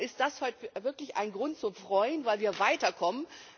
Darum ist heute wirklich ein Grund zum Freuen, weil wir weiterkommen.